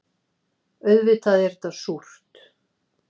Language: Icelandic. Auðvitað er þetta súrt.